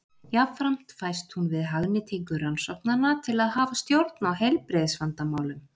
Jafnframt fæst hún við hagnýtingu rannsóknanna til að hafa stjórn á heilbrigðisvandamálum.